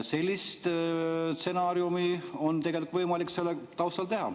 Sellist stsenaariumi on tegelikult võimalik selle taustal teha.